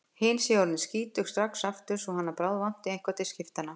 Hin séu orðin skítug strax aftur svo hann bráðvanti eitthvað til skiptanna.